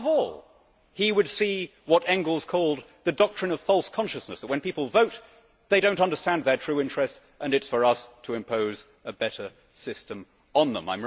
Above all, he would see what Engels called the doctrine of false consciousness' that when people vote, they do not understand their true interest and it is for us to impose a better system on them.